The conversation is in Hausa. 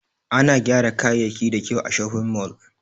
ana gera kayayaki da kyau a shopping mall.